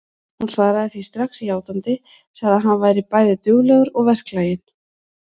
Hún svaraði því strax játandi, sagði að hann væri bæði duglegur og verklaginn.